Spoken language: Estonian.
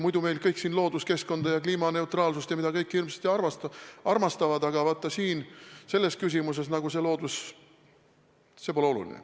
Muidu meil kõik siin looduskeskkonda ja kliimaneutraalsust ja mida kõike hirmsasti armastavad, aga vaata selles küsimuses loodus nagu pole oluline.